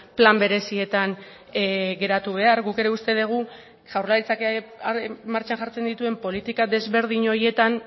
plan berezietan geratu behar guk ere uste dugu jaurlaritzak martxan jartzen dituen politika desberdin horietan